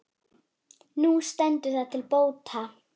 Nú stendur það til bóta.